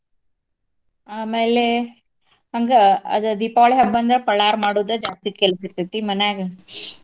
ಆಮೇಲೆ ಹಂಗ ಅದ ದೀಪಾವಳಿ ಹಬ್ಬ ಅಂದ್ರ ಪಳಾರ್ ಮಾಡೋದ ಜಾಸ್ತಿ ಕೆಲ್ಸ ಇರ್ತೇತಿ ಮನ್ಯಾಗ.